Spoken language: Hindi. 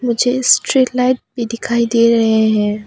मुझे स्ट्रीट लाइट भी दिखाई दे रहे हैं।